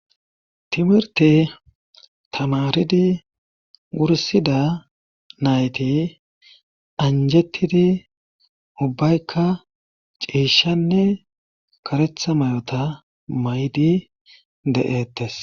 timirte tamaridi wursida nayti anjettidi ubbaykka ciishanne karetha mayota maydi de'ettes